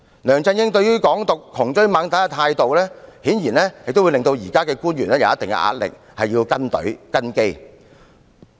梁振英對"港獨"窮追猛打的態度，顯然對現任官員施加一定壓力，需要"跟隊"及"跟機"。